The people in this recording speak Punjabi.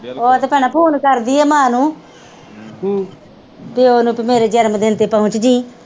ਉਹ ਤੇ ਭੈਣਾਂ ਫੋਨ ਕਰਦੀ ਆ ਮਾਂ ਨੂੰ ਪਿਓ ਨੂੰ ਪੀ ਮੇਰੇ ਜਨਮ ਦਿਨ ਤੇ ਪਹੁਚ ਜੀ।